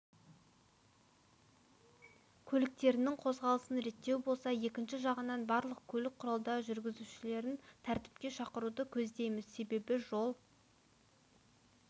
көліктерінің қозғалысын реттеу болса екінші жағынан барлық көлік құралдары жүргізушілерін тәртіпке шақыруды көздейміз себебі жол